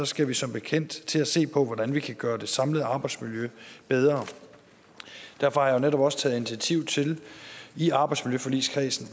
skal vi som bekendt til at se på hvordan vi kan gøre det samlede arbejdsmiljø bedre derfor har jeg netop også taget initiativ til i arbejdsmiljøforligskredsen